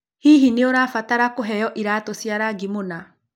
Hihi nĩ ũrabatara kũheo iratũ cia rangi mũna?